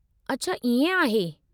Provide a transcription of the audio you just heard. अछा इएं आहे।